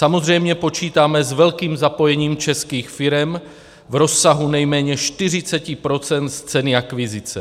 Samozřejmě počítáme s velkým zapojením českých firem v rozsahu nejméně 40 % z ceny akvizice.